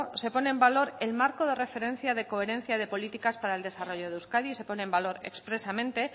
se pone en valor el marco de referencia de coherencia de políticas para el desarrollo de euskadi se pone en valor expresamente